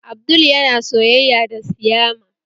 Abdul yana soyayya da siyama